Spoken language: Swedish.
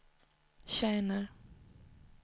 tjänar